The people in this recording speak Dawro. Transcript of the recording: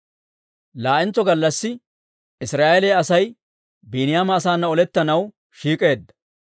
Laa"entso gallassi Israa'eeliyaa Asay Biiniyaama asaanna olettanaw shiik'k'eedda.